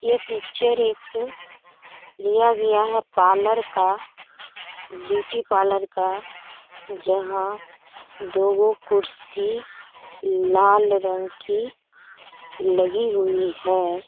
ये पिक्चर एक लिया गया है पार्लर का ब्यूटी पार्लर का जहां दोगो कुर्सी लाल रंग की लगी हुई हैं |